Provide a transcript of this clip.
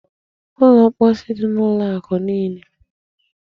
Ụlọ mposi dị n'ụlọ akụ niile.